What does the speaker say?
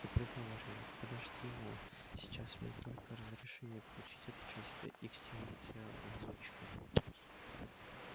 и приговаривает подожди мол сейчас мне только разрешение получить от начальства и к стенке тебя лазутчика